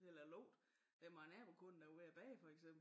Eller lugte det var nabokonen der var ved at bage for eksempel